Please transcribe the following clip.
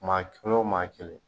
Maa kelen o maa kelen